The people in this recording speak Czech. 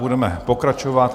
Budeme pokračovat.